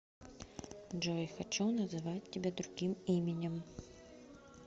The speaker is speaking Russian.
джой хочу называть тебя другим именем